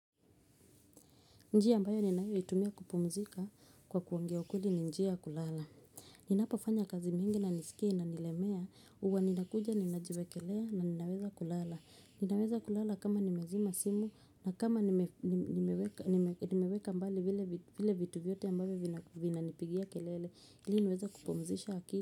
Njia ambayo ninayoitumia kupumzika kwa kuongea ukweli ni njia ya kulala. Ninapofanya kazi mingi na nisikie inanilemea huwa ninakuja ninajiwekelea na ninaweza kulala. Ninaweza kulala kama nimezima simu na kama nimeweka mbali vile vitu vyote ambavyo vinanipigia kelele ili niweza kupumzisha akili.